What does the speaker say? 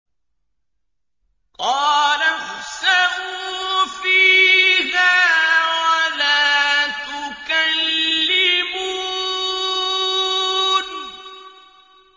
قَالَ اخْسَئُوا فِيهَا وَلَا تُكَلِّمُونِ